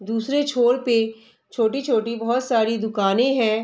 दुसरे छोर पे छोटी-छोटी बहुत सारी दुकानें हैं।